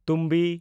ᱛᱩᱢᱵᱤ